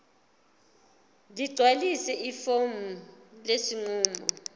ligcwalise ifomu lesinqumo